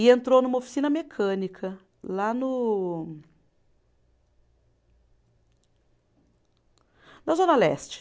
E entrou numa oficina mecânica lá no. Na Zona Leste.